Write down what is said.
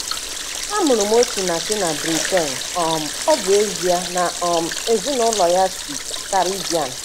A mụrụ Osinachi na Britain, um ọ bụ ezie na um ezinụlọ ya si Caribbean.